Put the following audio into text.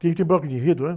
Tem até bloco de enredo, ãh?